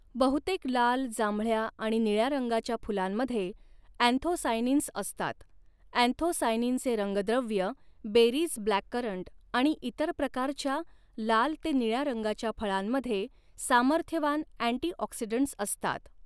बहुतेक लाल जांभळ्या आणि निळ्या रंगाच्या फुलांमध्ये अँथोसायनिन्स असतात अँथोसायनिनचे रंगद्रव्य बेरीज ब्लॅककरंट आणि इतर प्रकारच्या लाल ते निळ्या रंगाच्या फळांमध्ये सामर्थ्यवान अँटीऑक्सिडंट्स असतात.